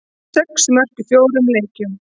Sex mörk í fjórum leikjum.